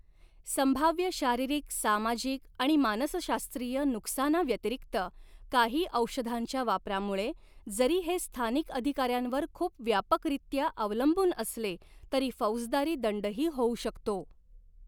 संभाव्य शारीरिक, सामाजिक आणि मानसशास्त्रीय नुकसानाव्यतिरिक्त, काही औषधांच्या वापरामुळे, जरी हे स्थानिक अधिकाऱ्यांवर खूप व्यापकरीत्या अवलंबून असले, तरी फौजदारी दंडही होऊ शकतो.